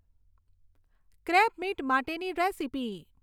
crabmeat માટેની recipe